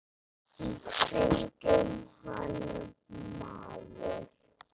Í kringum hann maður.